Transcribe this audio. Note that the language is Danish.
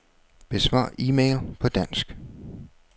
Besvar e-mail på dansk.